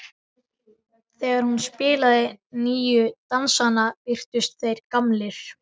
Þegar hún spilaði nýju dansana virtust þeir gamlir.